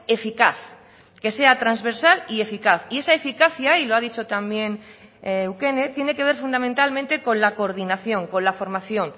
eficaz que sea transversal y eficaz y esa eficacia y lo ha dicho también eukene tiene que ver fundamentalmente con la coordinación con la formación